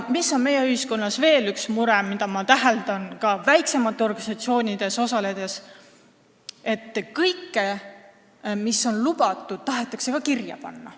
Meie ühiskonnas on veel üks mure, mida ma olen täheldanud ka väiksemates organisatsioonides osaledes: kõike, mis on lubatud, tahetakse ka kirja panna.